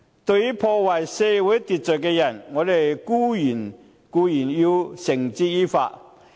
對於破壞社會秩序的人，我們必定要繩之以法。